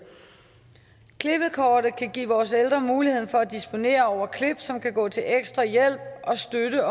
klippekortet kan give vores ældre mulighed for at disponere over klip som kan gå til ekstra hjælp og støtte